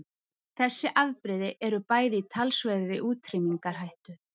Þessi afbrigði eru bæði í talsverðri útrýmingarhættu.